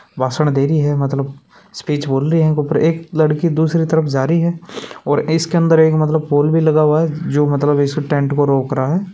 भाषण दे रही है मतलब स्पीच बोल रही है एक लड़की दूसरी तरफ जा रही है और इसके अंदर एक मतलब पोल भी लगा हुआ है जो मतलब इसको टेंट को रोक रहा है।